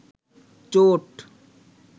চোট